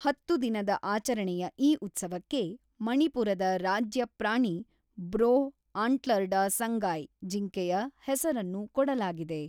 ಹತ್ತು ದಿನದ ಆಚರಣೆಯ ಈ ಉತ್ಸವಕ್ಕೆ ಮಣಿಪುರದ ರಾಜ್ಯ ಪ್ರಾಣಿ ಬ್ರೋ ಆಂಟ್ಲರ್ಡ ಸಂಗಾಯ್‌ ಜಿಂಕೆಯ ಹೆಸರನ್ನು ಕೊಡಲಾಗಿದೆ.